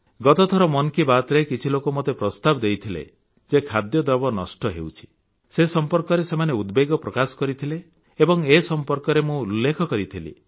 ଗତଥର ମନ୍ କି ବାତରେ କିଛି ଲୋକ ମୋତେ ପ୍ରସ୍ତାବ ଦେଇଥିଲେ ଯେ ଖାଦ୍ୟଦ୍ରବ୍ୟ ନଷ୍ଟ ହେଉଛି ସେ ସମ୍ପର୍କରେ ସେମାନେ ଉଦବେଗ ପ୍ରକାଶ କରିଥିଲେ ଏବଂ ଏ ସମ୍ପର୍କରେ ମୁଁ ଉଲ୍ଲେଖ କରିଥିଲି